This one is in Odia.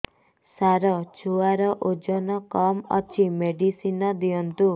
ସାର ଛୁଆର ଓଜନ କମ ଅଛି ମେଡିସିନ ଦିଅନ୍ତୁ